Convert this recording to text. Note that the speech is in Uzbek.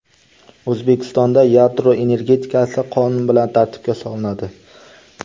O‘zbekistonda yadro energetikasi qonun bilan tartibga solinadi.